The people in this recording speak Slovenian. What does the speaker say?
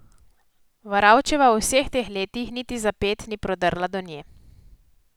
Varavčeva v vseh teh letih niti za ped ni prodrla do nje.